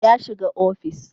Ya shiga ofis